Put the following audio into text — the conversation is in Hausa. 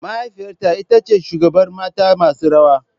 Mahaifiyata ita ce shugabar mata masu rawa.